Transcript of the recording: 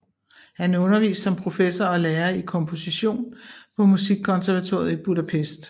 Han underviste som professor og lærer i komposition på Musikkonservatoriet i Budapest